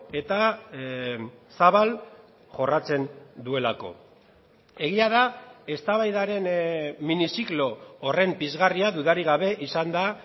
eta zabal jorratzen duelako egia da eztabaidaren miniziklo horren pizgarria dudarik gabe izan da